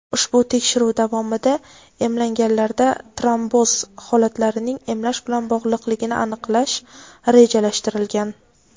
Ushbu tekshiruv davomida emlanganlarda tromboz holatlarining emlash bilan bog‘liqligini aniqlash rejalashtirilgan.